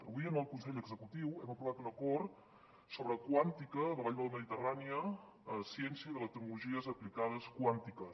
avui en el consell executiu hem aprovat un acord sobre quàntica la vall de la mediterrània ciència i tecnologies aplicades quàntiques